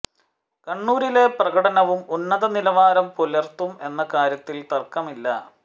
കണ്ണൂരിലെ പ്രകടനവും ഉന്നത നിലവാരം പുലർത്തും എന്ന കാര്യത്തിൽ തർക്കമില്ല